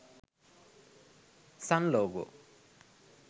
sun logo